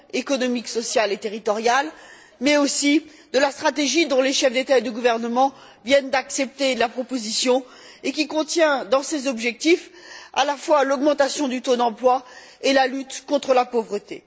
économique, sociale et territoriale mais aussi de la stratégie dont les chefs d'État et de gouvernement viennent d'accepter la proposition et qui contient dans ses objectifs à la fois l'augmentation du taux d'emploi et la lutte contre la pauvreté.